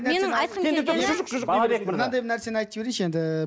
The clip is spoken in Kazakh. менің айтқым келгені мынандай нәрсені айтып жіберейінші енді